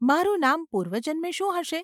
‘મારું નામ પૂર્વજન્મે શું હશે?